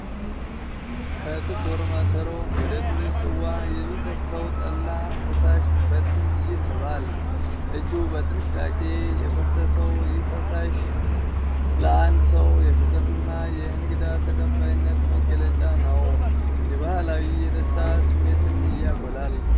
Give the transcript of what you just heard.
ከጥቁር ማሰሮ ወደ ትንሽ ጽዋ የሚፈሰው ጠላ ፈሳሽ ትኩረትን ይስባል። እጁ በጥንቃቄ የፈሰሰው ይህ ፈሳሽ ለአንድ ሰው የፍቅርና የእንግዳ ተቀባይነት መግለጫ ነው ፤ የባህላዊ የደስታ ስሜትንም ያጎላል።